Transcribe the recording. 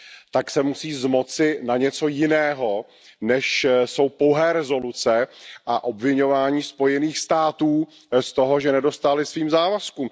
tak se musí zmoci na něco jiného, než jsou pouhé rezoluce a obviňování Spojených států z toho, že nedostály svým závazkům.